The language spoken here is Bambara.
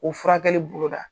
O furakɛli boloda.